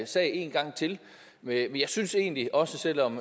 sag en gang til men jeg synes egentlig også selv om